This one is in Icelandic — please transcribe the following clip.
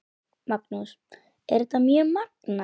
Magnús: Er þetta mjög magnað?